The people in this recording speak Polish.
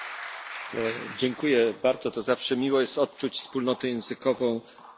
To zawsze miło jest odczuć wspólnotę językową języków słowiańskich.